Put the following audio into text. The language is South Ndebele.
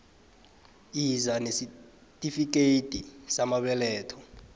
yiza nesitifikethi samabeletho